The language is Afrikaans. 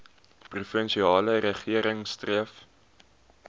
provinsiale regering streef